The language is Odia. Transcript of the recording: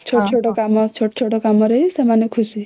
ଛୋଟ ଛୋଟ କାମ ରେ ହିଁ ସେମାନେ ଖୁସି